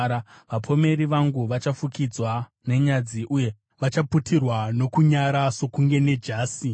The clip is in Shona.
Vapomeri vangu vachafukidzwa nenyadzi, uye vachaputirwa nokunyara sokunge nejasi.